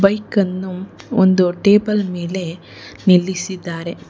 Bike ಅನ್ನು ಒಂದು table ಮೇಲೆ ನಿಲ್ಲಿಸಿದ್ದಾರೆ.